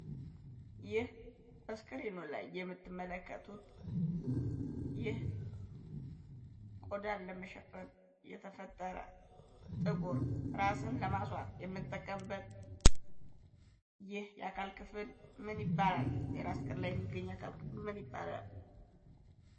ይህ በስክሪኑ ላይ የምትመለከቱት ይህ ቆዳን ለመሸፈን የተፈጠረ ጥቁር ራስን ለማስዋብ የምንጠቀምበት ይህ የአካል ክፍል ምን ይባላል? የራስ ቅል ላይ የሚገኝ የአካል ክፍል ምን ይባላል?